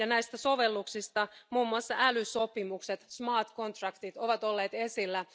Näistä sovelluksista muun muassa älysopimukset, smart contracts ovat olleet esillä.